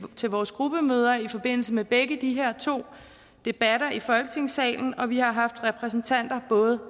vores gruppemøder i forbindelse med begge de her to debatter i folketingssalen og vi har haft repræsentanter både